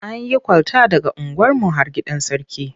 An yi kwalta daga unguwarmu har gidan Sarki.